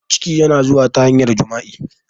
Ciki na zuwa ta hanyar jima'i